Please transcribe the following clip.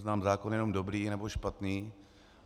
Znám zákon jenom dobrý nebo špatný.